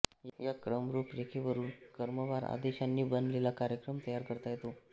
या क्रमरूपरेखेवरून क्रमवार आदेशांनी बनलेला कार्यक्रम तयार करता येतो